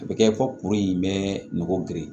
A bɛ kɛ fɔ kuru in bɛ nɔgɔ geren